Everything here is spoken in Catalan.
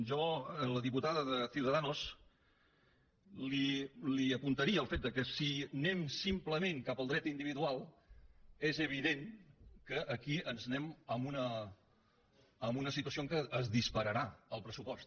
jo a la diputada de ciudadanos li apuntaria el fet que si anem simplement cap al dret individual és evident que aquí ens n’anem a una situació en què es dispararà el pressupost